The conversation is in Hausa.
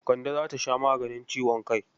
Kande za ta sha maganin ciwon kai.